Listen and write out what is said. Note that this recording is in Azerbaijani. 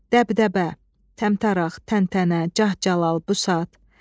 Dəbdəbə, təmtəraq, təntənə, cah-calal, busat.